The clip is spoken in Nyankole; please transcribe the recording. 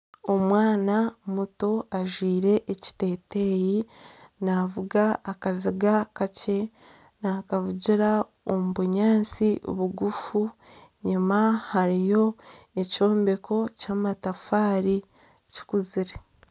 Omwana muto ajwaire ekiteeteeyi naavuga akaziga kakye nakavugira omu bunyaatsi bugufu enyima hariyo ekyombeko ky'amatafaari kikuzire.